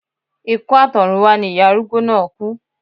Ikú àtọ̀runwá ni ìyá arúgbó náà kú